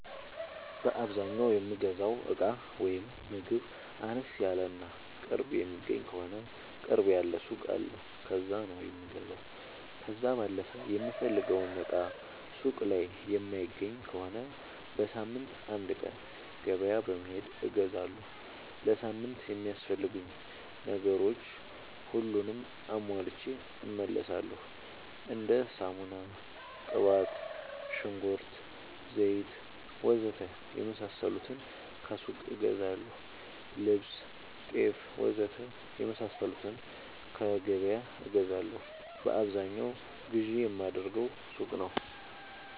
በአዛኛው የምገዛው እቃ ወይም ምግብ አነስ ያለ እና ቅርብ የሚገኝ ከሆነ ቅርብ ያለ ሱቅ አለ ከዛ ነው የምገዛው። ከዛ ባለፈ የምፈልገውን እቃ ሱቅ ላይ የማይገኝ ከሆነ በሳምንት አንድ ቀን ገበያ በመሄድ እገዛለሁ። ለሳምንት የሚያስፈልጉኝ ነገሮች ሁሉንም አሟልቼ እመለሣለሁ። እንደ ሳሙና፣ ቅባት፣ ሽንኩርት፣ ዘይት,,,,,,,,, ወዘተ የመሣሠሉትን ከሱቅ እገዛለሁ። ልብስ፣ ጤፍ,,,,,,,,, ወዘተ የመሣሠሉትን ከገበያ እገዛለሁ። በአብዛኛው ግዢ የማደርገው ሱቅ ነው።